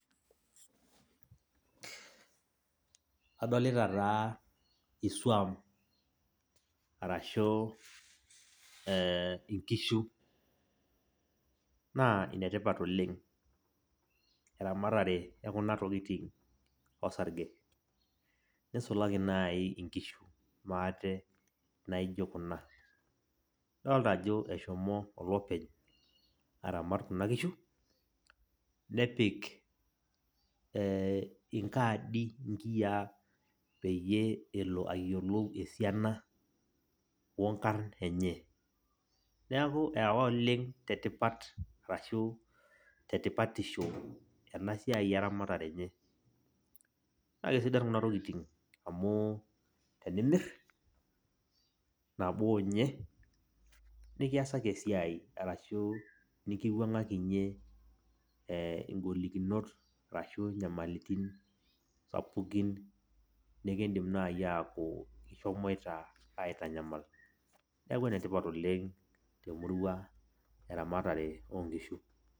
Adolita taa isuam, arashu eeh inkishu. Naa inetipat oleng' eramatare oo kuna tokitin osarge, nisulaki naii inkishu maate naijo kuna. Adoolta ajo eshomo olopeny aramat kuna kishu, nepik eeh inkaadi inkiyia peyie elo ayielou esiana onkarr enye. Neeku eewa oleng' tetipat arashu tetipatisho ena siai eramatare enye. Kake sidan kuna tokitin amu tenimirr, nabo ninye, nikiasaki esiai arashu nikiwuangakinye eh ingolikinot arashu inyamalitin sapukin nikiindim naaji aaku kishomoita aitanyamal. Neeku enetipat oleng' temurua eramatare oonkishu.